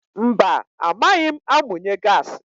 Mba amaghị m amunye gaasi.